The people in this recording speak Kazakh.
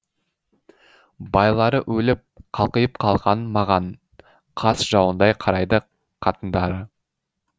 байлары өліп қалқиып қалған маған қас жауындай қарайды қатындары